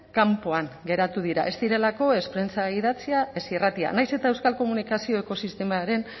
kanpoan geratu dira ez direlako ez prentsa idatzia ez irratia nahiz eta euskal komunikazio ekosistemaren